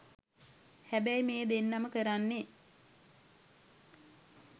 හැබැයි මේ දෙන්නම කරන්නේ